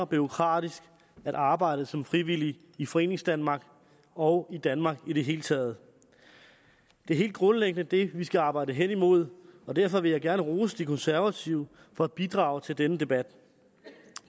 bureaukratisk at arbejde som frivillig i foreningsdanmark og i danmark i det hele taget det er helt grundlæggende det vi skal arbejde hen imod og derfor vil jeg gerne rose de konservative for at bidrage til denne debat